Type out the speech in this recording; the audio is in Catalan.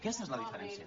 aquesta és la diferència